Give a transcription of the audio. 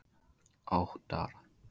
Óttar